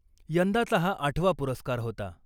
यंदाचा हा आठवा पुरस्कार होता .